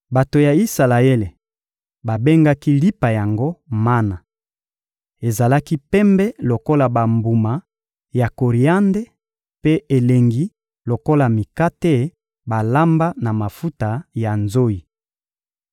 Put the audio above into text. Bato ya Isalaele babengaki lipa yango mana. Ezalaki pembe lokola bambuma ya koriande mpe elengi lokola mikate balamba na mafuta ya nzoyi.